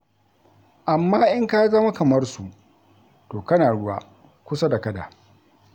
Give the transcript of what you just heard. Amma in ka zama kamar su, to kana ruwa, kusa da kada.